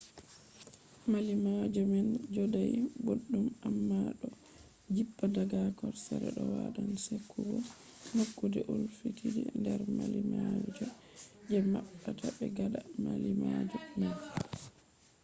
mallimalloje man jodai boddum amma do jippa daga hosere. do wadan sekugo nokkude ulfitide nder mallimalloje je mabbata be gada mallimalloje man